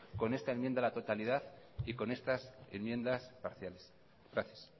con esta enmienda a la totalidad y con estas enmiendas parciales gracias